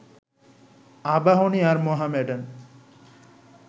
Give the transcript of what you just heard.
আবাহনী আর মোহামেডান